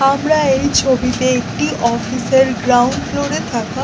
আমরা এই ছবিতে একটি অফিস এর গ্রাউন্ড ফ্লোর এ থাকা--